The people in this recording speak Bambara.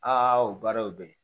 Aa o baaraw bɛ ye